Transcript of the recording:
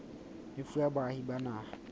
e fuwa baahi ba naha